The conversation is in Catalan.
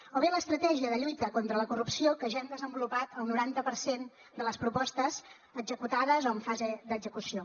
o bé l’estratègia de lluita contra la corrupció que ja hem desenvolupat el noranta per cent de les propostes executades o en fase d’execució